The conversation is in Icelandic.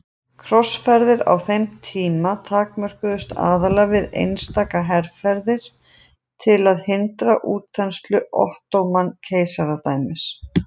Krossferðir á þeim tíma takmörkuðust aðallega við einstaka herferðir til að hindra útþenslu Ottóman-keisaradæmisins.